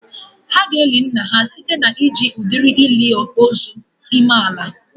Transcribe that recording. Ha ga-eli nna ha site na iji udiri ili ozu ime ala